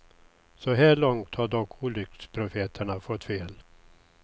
Så här långt har dock olycksprofeterna fått fel.